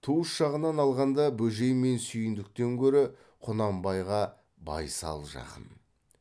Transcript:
туыс жағынан алғанда бөжей мен сүйіндіктен көрі құнанбайға байсал жақын